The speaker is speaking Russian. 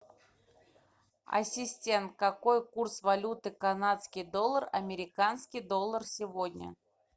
ассистент какой курс валюты канадский доллар американский доллар сегодня